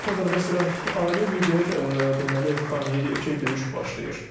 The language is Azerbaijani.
Son xəbər məsələn, ailə lider deməli Xameney deyir ki, döyüş başlayır.